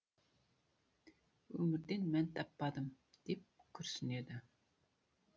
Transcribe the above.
өмірден мән таппадым деп күрсінеді